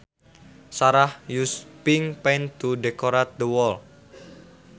Sarah used pink paint to decorate the wall